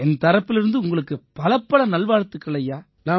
என் தரப்பிலிருந்து உங்களுக்கும் பலப்பல நல்வாழ்த்துக்கள் ஐயா